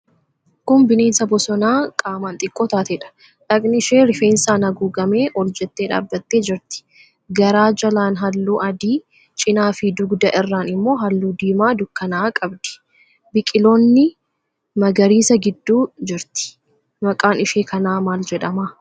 Kun bineensa bosonaa qaamaan xiqqoo taateedha. Dhaqni ishee rifeensaan haguugamee ol jettee dhaabbattee jirti. Garaa jalaan halluu adii, cinaafi dugda irraan immoo halluu diimaa dukkana'aa qabdi. Biqiloonni magariisa gidduu jirti. Maqaan ishee kanaa maal jedhama?